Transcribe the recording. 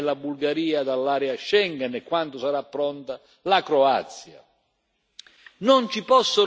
escludere la Romania e la Bulgaria dall'area Schengen e, quando sarà pronta, la Croazia.